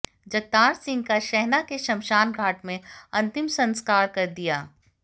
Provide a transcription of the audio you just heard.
जगतार सिंह का शहणा के श्मशान घाट में अंतिम संस्कार कर दिया